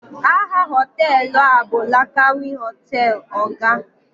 aha họtelu a bụ lakanwi hotel, oga